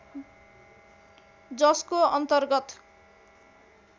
जसको अन्तर्गत